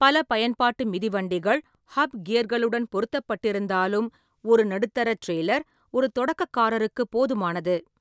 பல பயன்பாட்டு மிதிவண்டிகள் ஹப் கியர்களுடன் பொருத்தப்பட்டிருந்தாலும், ஒரு நடுத்தர டிரெய்லர் ஒரு தொடக்கக்காரருக்கு போதுமானது.